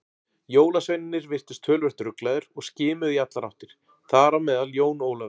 Jólasveinarnir virtust töluvert ruglaðir og skimuðu í allar áttir, þar á meðal Jón Ólafur.